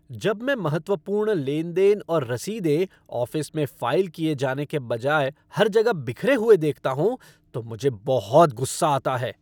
जब मैं महत्वपूर्ण लेन देन और रसीदें ऑफ़िस में फ़ाइल किए जाने के बजाय हर जगह बिखरे हुए देखता हूँ तो मुझे बहुत गुस्सा आता है ।